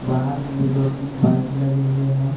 बाहर में भी दो तीन बाइक लगे हुए हैं।